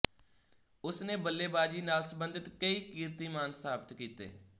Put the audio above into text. ਉਸ ਨੇ ਬੱਲੇਬਾਜੀ ਨਾਲ ਸਬੰਧਤ ਕਈ ਕੀਰਤੀਮਾਨ ਸਥਾਪਤ ਕੀਤੇ